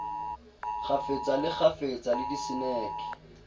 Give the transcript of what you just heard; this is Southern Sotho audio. kgafetsa le kgafetsa le diseneke